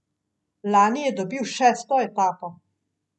Lani je dobil šesto etapo.